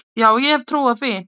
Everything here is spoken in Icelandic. Já ég hef trú á því.